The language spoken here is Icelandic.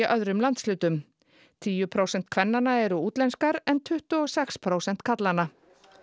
öðrum landshlutum tíu prósent kvennanna eru útlenskar en tuttugu og sex prósent karlanna